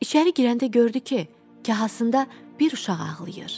İçəri girəndə gördü ki, kahasında bir uşaq ağlayır.